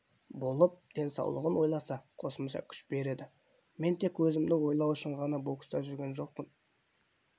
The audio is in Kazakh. болып денсаулығын ойласа қосымша күш береді мен тек өзімді ойлау үшін ғана бокста жүрген жоқпын